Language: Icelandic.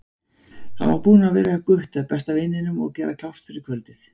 Hann var búinn að vera hjá Gutta, besta vininum, og gera klárt fyrir kvöldið.